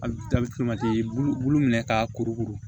i bu bulu minɛ ka kuru kuru